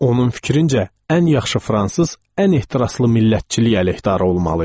Onun fikrincə, ən yaxşı fransız ən ehtiraslı millətçilik əleyhdarı olmalı idi.